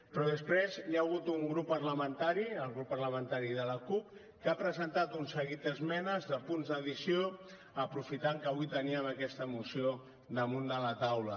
però després hi ha hagut un grup parlamentari el grup parlamentari de la cup que ha presentat un seguit d’esmenes de punts d’addició aprofitant que avui teníem aquesta moció damunt de la taula